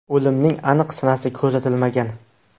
O‘limning aniq sanasi ko‘rsatilmagan.